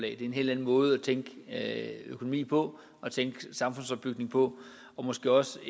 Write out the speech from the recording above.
er en helt anden måde tænke økonomi på og tænke samfundsopbygning på og måske også